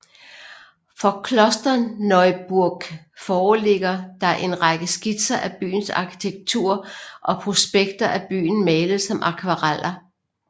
Fra Klosterneuburg foreligger der en række skitser af byens arkitektur og prospekter af byen malet som akvareller